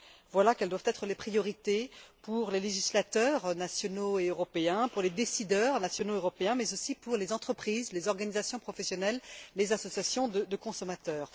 Voilà les priorités pour les législateurs nationaux et européens, pour les décideurs nationaux et européens, mais aussi pour les entreprises, les organisations professionnelles, les associations de consommateurs.